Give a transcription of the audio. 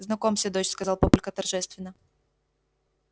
знакомься дочь сказал папулька торжественно